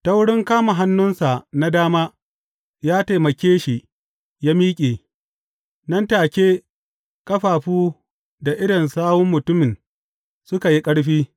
Ta wurin kama hannunsa na dama, ya taimake shi ya miƙe, nan take ƙafafu da idon sawun mutumin suka yi ƙarfi.